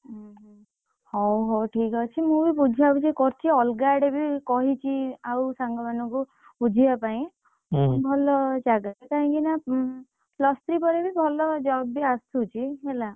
ଉଁହୁଁ, ହଉ ହଉ ଠିକ୍ ଅଛି ମୁଁ ବି ବୁଝା ବୁଝି କରୁଛି ଅଲଗା ଆଡେ ବି କହିଛି ଆଉ ସାଙ୍ଗ ମନଙ୍କୁ, ବୁଝିବା ପାଇଁ, ଭଲ ଜାଗାରେ କାହିଁକି ନା ଉଁ, plus three ପରେ ବି ଭଲ job ବି ଆସୁଛି ହେଲା।